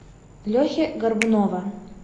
лехи горбунова